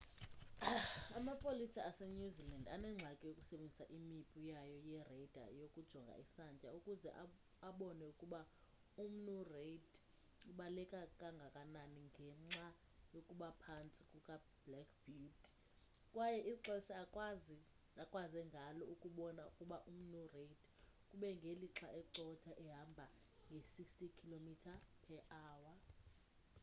amapolisa asenew zealand anengxaki yokusebenzisa imipu yayo ye-radar yokujonga isantya ukuze abone ukuba umnu reid ubaleka kangakanani ngenxa yokuba phantsi kukablack beauty kwaye ixesha akwaze ngalo ukubona ukuba umnu reid kube ngelixa ecotha ehamba nge-160km/h